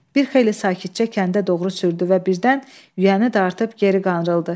Bir xeyli sakitcə kəndə doğru sürdü və birdən yüyəni dartıb geri qanrıldı.